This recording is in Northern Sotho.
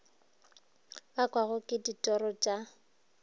bakwago ke ditiro t a